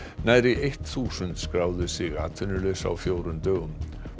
nærri þúsund skráðu sig atvinnulausa á fjórum dögum